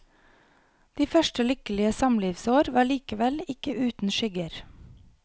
De første lykkelige samlivsår var likevel ikke uten skygger.